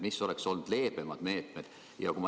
Ehk oleks olnud ka leebemaid meetmeid?